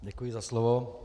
Děkuji za slovo.